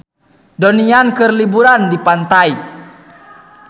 Donnie Yan keur liburan di pantai